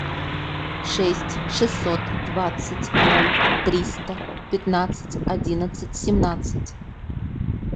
шесть шестьсот двадцать ноль триста пятнадцать одиннадцать семнадцать